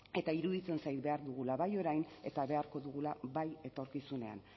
eta iruditzen zait behar dugula bai orian eta beharko dugula bai etorkizunean